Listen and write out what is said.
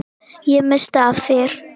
Ég missti af þér.